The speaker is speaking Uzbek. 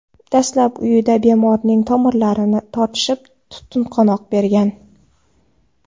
Dastlab uyida bemorning tomirlari tortishib, tutqanoq bergan.